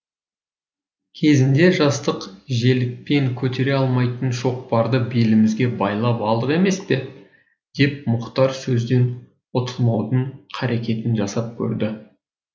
кезінде жастық желікпен көтере алмайтын шоқпарды белімізге байлап алдық емес пе деп мұхтар сөзден ұтылмаудың қарекетін жасап көрді